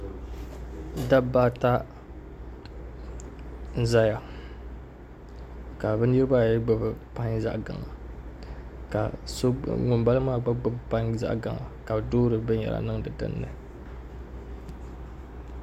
Dabba ata n ʒɛya ka bi niraba ayi gbubi pai zaɣ gaŋa ka ŋunbala maa gba gbubi pai ka bi doori binyɛra niŋdi dinni